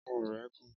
Ọrùn rẹ̀ gún.